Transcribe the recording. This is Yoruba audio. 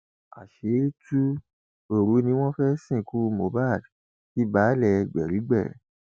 àṣírí tú òru ni wọn fẹẹ sìnkú mohbak kí baálé gbérígbé